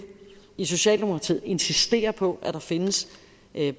i socialdemokratiet insistere på at der findes